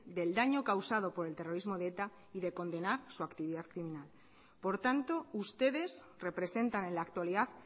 del daño causado por el terrorismo de eta y de condenar su actividad asesina por tanto ustedes representan en la actualidad